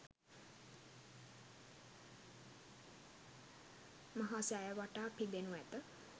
මහා සෑය වටා පිදෙනු ඇත.